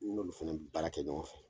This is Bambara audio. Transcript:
N'olu fana bɛ baara kɛ ɲɔgɔn fɛ!